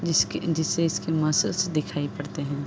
जिसके जिसे इसकी मसल्श दिखाई पड़ते हैं।